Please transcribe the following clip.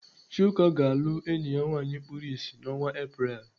Chuka ga-alụ enyi ya nwaanyị kpuru ịsị n'ọnwa Apreel.